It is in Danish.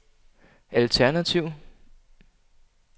alternativ